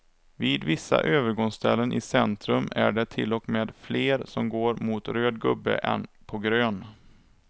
Vid vissa övergångsställen i centrum är det till och med fler som går mot röd gubbe än på grön.